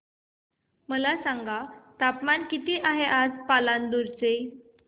मला सांगा तापमान किती आहे आज पालांदूर चे